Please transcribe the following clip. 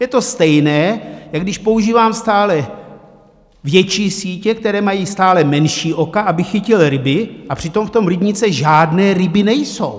Je to stejné, jak když používám stále větší sítě, které mají stále menší oka, abych chytil ryby, a přitom v tom rybníce žádné ryby nejsou.